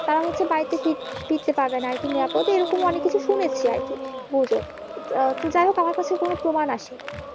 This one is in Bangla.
তারা হচ্ছে বাড়িতে ফিরতে পারবে না আরকি নিরাপদ এরকমই অনেক কিছু শুনেছি আরকি গুজব তো যাইহোক আমার কাছে কোনো প্রমান আসেনি